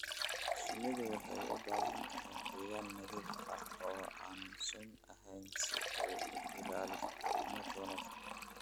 Shinnidu waxay u baahan tahay deegaan nadiif ah oo aan sun ahayn si ay u ilaaliso caafimaadka wanaagsan.